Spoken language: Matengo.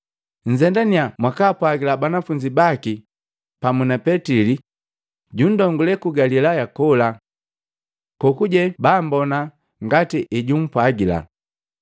Nzendanya mwakaapwagila banafunzi baki pamu na Petili ‘Jundongulee ku Galilaya kola. Kokuje bambona ngati ejumpwagila.’ ”